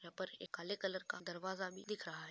यहाँ पर एक काले कलर का दरवाजा भी दिख रहा है।